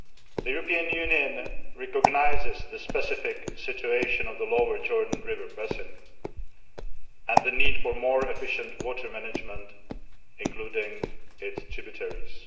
The European Union recognises the specific situation of the lower Jordan River Basin and the need for more efficient water management including its tributaries.